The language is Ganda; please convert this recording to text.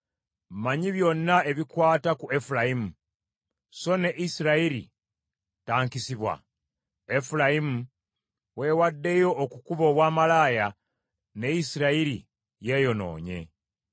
Mmanyi byonna ebikwata ku Efulayimu, so ne Isirayiri tankisibwa. Efulayimu weewaddeyo okukuba obwamalaaya, ne Isirayiri yeeyonoonye.